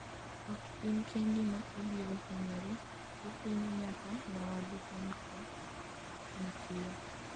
ok in kendi ma ibiro hinyori, ihinyo nyaka nyawadu kuom tij mitiyo